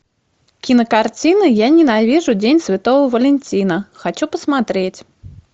кинокартина я ненавижу день святого валентина хочу посмотреть